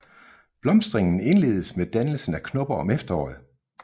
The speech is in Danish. Blomstringen indledes med dannelse af knopper om efteråret